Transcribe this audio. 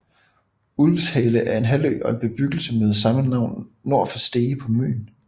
Ulvshale er en halvø og en bebyggelse med samme navn nord for Stege på Møn